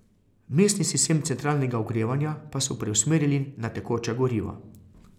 Mestni sistem centralnega ogrevanja pa so preusmerili na tekoča goriva.